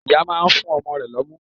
Ìyá náà nfún ọmọ rẹ̀ lọ́mú